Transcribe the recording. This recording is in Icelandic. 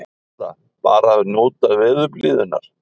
Erla: Bara að njóta veðurblíðunnar?